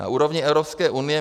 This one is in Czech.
Na úrovni Evropské unie